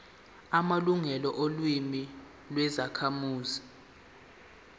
amalungelo olimi lwezakhamuzi